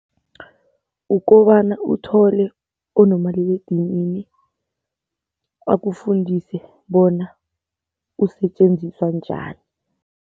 Ukobana uthole onomaliledinini akufundise bona usetjenziswa njani.